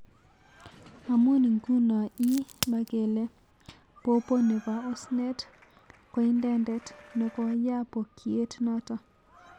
Amun iguno ii makele popo nepo osnet ko indetet nekoyaa poykiet naton